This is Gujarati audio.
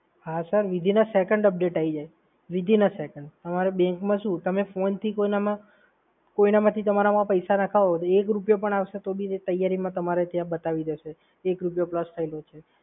હા sir, within a second update આઈ જાય. within a second bank માં શું, તમે ફોનથી કોઇનામાં, કોઇનમાંથી તમારામાં પૈસા નખાવો તો એક રૂપિયો પણ આવશે તો તમારે જલ્દીમાં જ તમારે ત્યાં બતાવી દેશે કે એક રૂપિયો plus થયેલો છે.